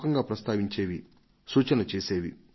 gas సబ్సిడీని తగ్గించాలనే అంశంపైన సలహాలు వచ్చేవి